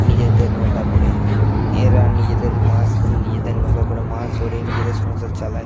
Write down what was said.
নিজেদের নৌকা করে এরা নিজেদের মাশ নিজেদের নৌকা করা মাছ ধরে নিজেদের সংসার চালায়।